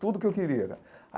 Tudo o que eu queria.